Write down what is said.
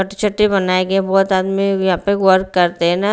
बनाए गए हैं बहुत आदमी यहाँ पे वर्क करते हैं ना।